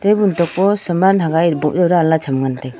table to po saman hagaj bojo danla cham ngan taiga.